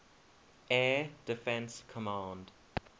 air defense command